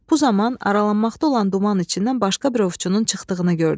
Bu zaman aralanmaqda olan duman içindən başqa bir ovçunun çıxdığını gördü.